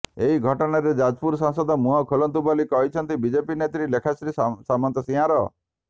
ଏହି ଘଟଣାରେ ଯାଜପୁର ସାଂସଦ ମୁହଁ ଖୋଲନ୍ତୁ ବୋଲି କହିଛନ୍ତି ବିଜେପି ନେତ୍ରୀ ଲେଖାଶ୍ରୀ ସାମନ୍ତସିଂହାର